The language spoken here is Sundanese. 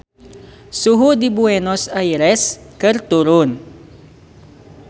Suhu di Buenos Aires keur turun